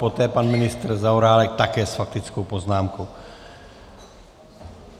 Poté pan ministr Zaorálek také s faktickou poznámkou.